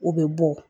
U bɛ bɔ